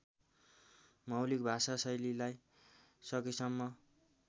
मौलिक भाषाशैलीलाई सकेसम्म